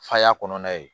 Faya kɔnɔna ye